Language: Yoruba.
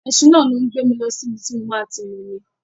Ẹṣin náà ló ń gbé mi lọ sí ibi tí mo máa ti momi.